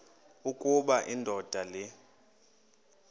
ukuba indoda le